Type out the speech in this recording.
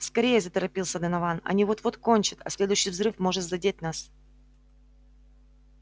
скорее заторопился донован они вот-вот кончат а следующий взрыв может задеть нас